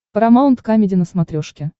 парамаунт камеди на смотрешке